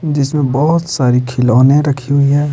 जिसमें बहुत सारी खिलौने रखी हुई है।